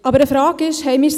Eine Frage ist aber: